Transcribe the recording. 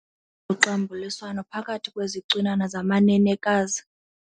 loxambuliswano phakathi kwezicwinana zamanenekazi.